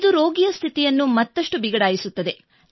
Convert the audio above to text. ಇದು ರೋಗಿಯ ಸ್ಥಿತಿಯನ್ನು ಮತ್ತಷ್ಟು ಬಿಗಡಾಯಿಸುತ್ತದೆ